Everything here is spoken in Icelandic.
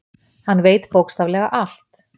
Hann veit bókstaflega allt.